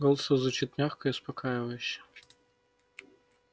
голос его звучит мягко и успокаивающе